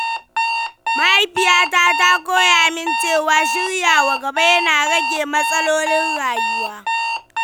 Mahaifiyata ta koya min cewa shiryawa gaba yana rage matsalolin rayuwa.